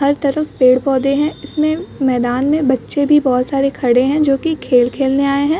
हर तरफ पेड़-पौधे हैं। इसमें मैदान में बच्चे भी बहोत सारे खड़े हैं जो कि खेल खेलने आये हैं।